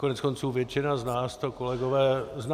Koneckonců většina z nás to, kolegové, zná.